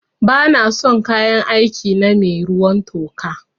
Ba na son kayan aiki na mai ruwan toka